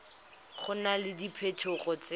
go na le diphetogo tse